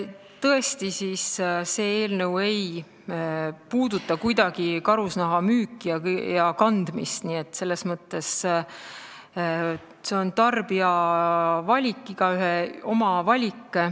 Tõesti, see eelnõu ei puuduta kuidagi karusnaha müüki ja kandmist, see on selles mõttes tarbija valik, igaühe oma valik.